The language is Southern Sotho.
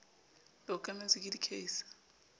le okametswe ke di case